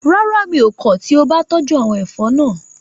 Rárá, mi ò kọ̀ tí o bá tọ́jú àwọn ẹ̀fọ́ náà